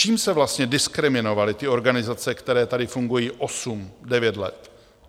Čím se vlastně diskriminovaly ty organizace, které tady fungují 8, 9 let?